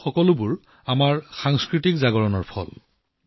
এই সকলোবোৰ আমাৰ সাংস্কৃতিক জাগৰণৰ ফল